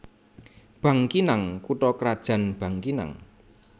Bangkinang kutha krajan Bangkinang